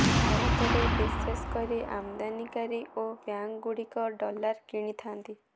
ଭାରତରେ ବିଶେଷ କରି ଆମଦାନିକାରୀ ଓ ବ୍ୟାଙ୍କଗୁଡ଼ିକ ଡଲାର କିଣିଥାନ୍ତି